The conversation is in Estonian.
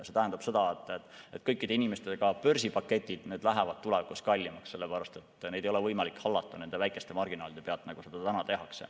See tähendab seda, et kõikide inimeste börsipaketid lähevad tulevikus kallimaks, sellepärast et neid ei ole võimalik hallata nende väikeste marginaalide pealt, nagu seda praegu tehakse.